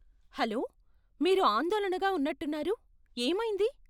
Hello, మీరు ఆందోళనగా ఉన్నట్టున్నారు, ఏమైంది?